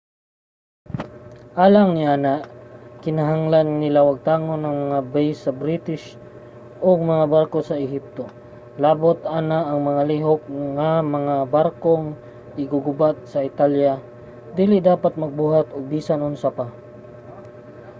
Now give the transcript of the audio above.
alang niana kinahanglan nila wagtangon ang mga base sa british ug mga barko sa ehipto. labot pa ana nga mga lihok ang mga barkong iggugubat sa italya dili dapat magbuhat og bisan unsa pa